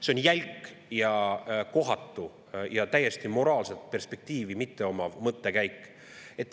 See on jälk ja kohatu ja täiesti moraalset perspektiivi mitteomav mõttekäik.